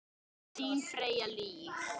Þín Freyja Líf.